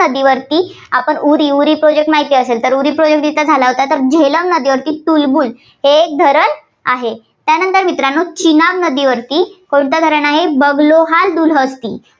नदीवरती उरी project माहिती असेल. उरी project जिथं झाला होता. तर झेलम नदीवरती तुलबुल हे एक धरण आहे. त्यानंतर मित्रांनो चिनाब नदीवरती कोणतं धरण आहे, बगलोहार दुलहत्ती.